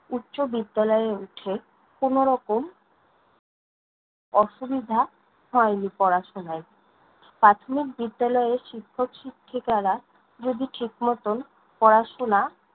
উচ্চবিদ্যালয়ে উঠে কোনোরকম অসুবিধা হয়নি পড়াশোনায়। প্রাথমিক বিদ্যালয়ের শিক্ষক-শিক্ষিকারা যদি, ঠিক মতন পড়াশোনা